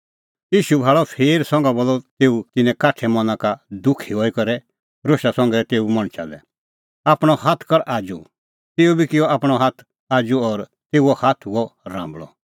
ईशू भाल़अ फेर संघा बोलअ तेऊ तिन्नें काठै मना का दुखी हई करै रोशा संघै तेऊ मणछा लै आपणअ हाथ कर आजू तेऊ बी किअ आपणअ हाथ आजू और तेऊओ हाथ हुअ राम्बल़अ